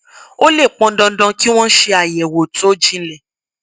ó lè pọn dandan kí wón ṣe àyèwò tó jinlẹ